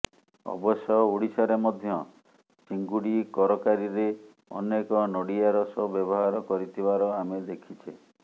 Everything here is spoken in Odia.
ଅବଶ୍ୟ ଓଡ଼ିଶାରେ ମଧ୍ୟ ଚିଙ୍ଗୁଡ଼ି କରକାରୀରେ ଅନେକ ନଡ଼ିଆ ରସ ବ୍ୟବହାର କରିଥିବାର ଆମେ ଦେଖିଛେ